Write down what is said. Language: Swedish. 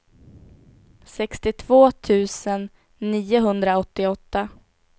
sextiotvå tusen niohundraåttioåtta